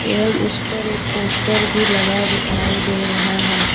एवं उसपर एक पोस्टर भी लगा दिखाई दे रहा है।